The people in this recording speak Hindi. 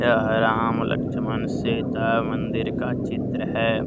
राम लक्ष्मण सीता मंदिर का चित्र है।